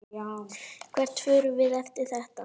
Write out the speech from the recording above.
Hvert förum við eftir þetta?